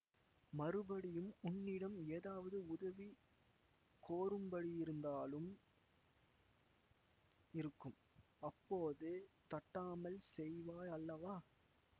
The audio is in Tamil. மறுபடியும் உன்னிடம் ஏதாவது உதவி கோரும்படியிருந்தாலும் இருக்கும் அப்போது தட்டாமல் செய்வாய் அல்லவா